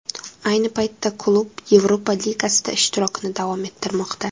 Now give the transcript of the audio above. Ayni paytda klub Yevropa Ligasida ishtirokini davom ettirmoqda.